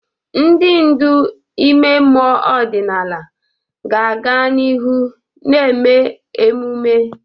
Ndị ndu ime mmụọ ọdịnala ga-aga n'ihu na-eme emume.